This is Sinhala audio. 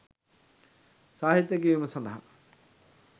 සාහිත්‍ය කියවීම සඳහා